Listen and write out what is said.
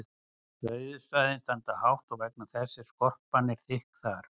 rauðu svæðin standa hátt vegna þess að skorpan er þykk þar